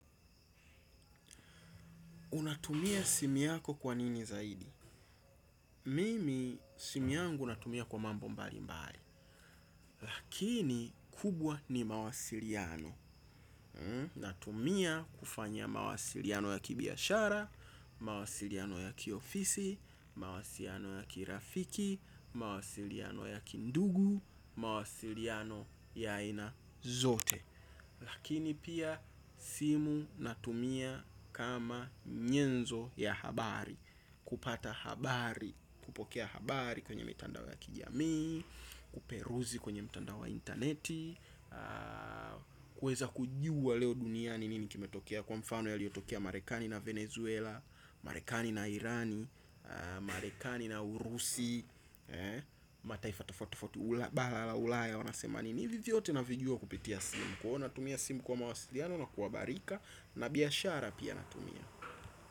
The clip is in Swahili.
Unatumia simu yako kwa nini zaidi? Mimi simu yangu natumia kwa mambo mbali mbali. Lakini kubwa ni mawasiliano. Natumia kufanya mawasiliano ya kibiashara, mawasiliano ya kiofisi, mawasiliano ya kirafiki, mawasiliano ya kindugu, mawasiliano ya ina zote. Lakini pia, simu natumia kama nyenzo ya habari. Kupata habari, kupokea habari kwenye mtandao ya kijamii kuperuzi kwenye mtandao wa internet kuweza kujua leo duniani nini kimetokea. Kwa mfano yaliyotokea Marekani na Venezuela Marekani na Irani Marekani na Urusi. Mataifa tofauti tofauti. Bara la ulaya wanasema nini. Hivi vyote navijua kupitia simu. Kwa hiyo natumia simu kwa mawasiliano na kuhabarika, na biashara pia natumia.